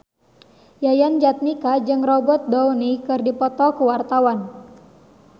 Yayan Jatnika jeung Robert Downey keur dipoto ku wartawan